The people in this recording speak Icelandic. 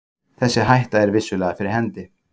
Þessi hætta er vissulega fyrir hendi.